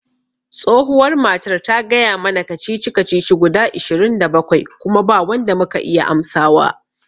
Tsohuwar matar ta gaya mana kacici kacici guda ishirin da bakwai kuma ba wanda muka iya amsawa